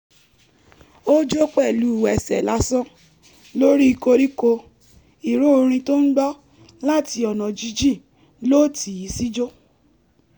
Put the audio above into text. ó jó pẹ̀lú ẹsẹ̀ lásán lórí koríko ìró orin tó ń gbọ́ láti ọ̀nà jíjìn ló tì í síjó